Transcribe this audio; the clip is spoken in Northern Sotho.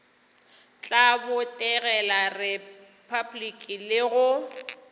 tla botegela repabliki le go